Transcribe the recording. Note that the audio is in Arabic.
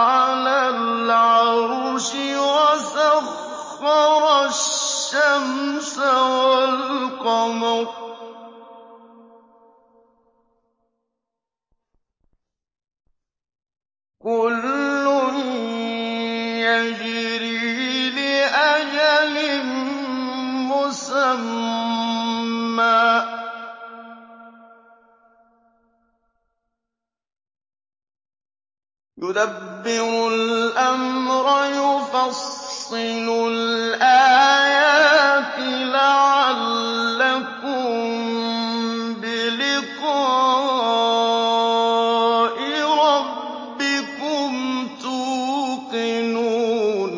عَلَى الْعَرْشِ ۖ وَسَخَّرَ الشَّمْسَ وَالْقَمَرَ ۖ كُلٌّ يَجْرِي لِأَجَلٍ مُّسَمًّى ۚ يُدَبِّرُ الْأَمْرَ يُفَصِّلُ الْآيَاتِ لَعَلَّكُم بِلِقَاءِ رَبِّكُمْ تُوقِنُونَ